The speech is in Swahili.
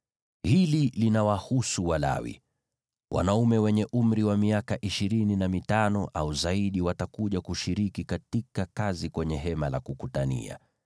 “Hili linawahusu Walawi: Wanaume wenye umri wa miaka ishirini na mitano au zaidi watakuja kushiriki katika kazi kwenye Hema la Kukutania,